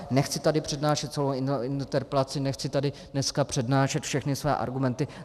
Nechci tady přednášet celou interpelaci, nechci tady dneska přednášet všechny svoje argumenty.